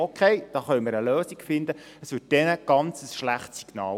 «Okay, da können wir eine Lösung finden.